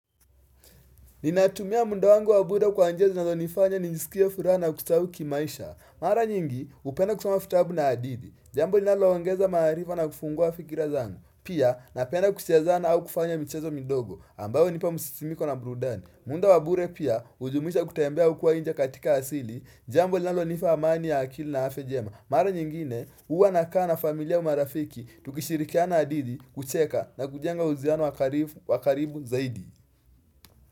Ninatumia muda wangu wa bure kwa njia zinazonifanya njisikie furaha na kustawi kimaisha Mara nyingi hupenda kusoma vitabu na hadithi Jambo linaloongeza maarifa na kufungua fikira zangu Pia napenda kucheza au kufanya michezo midogo ambayoo hunipa msisimiko na burudani muda wa bure pia hujumuisha kutembea huko nje katika asili Jambo linalonipa amani ya akili na afya njema Mara nyingine huwa nakaa na familia au marafiki tukishirikiana hadithi kucheka na kujenga uhusiano wa karibu zaidi.